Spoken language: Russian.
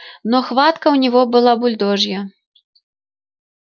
но хватка у него была бульдожья